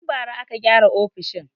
Tun bara aka gyara ofishin.